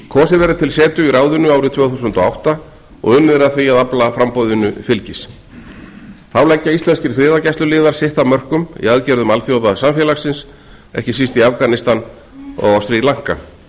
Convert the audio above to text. kosið verður til setu í ráðinu árið tvö þúsund og átta og unnið er að því að afla framboðinu fylgis þá leggja íslenskir friðargæsluliðar sitt af mörkum í aðgerðum alþjóðasamfélagsins ekki síst í afganistan og á sri lanka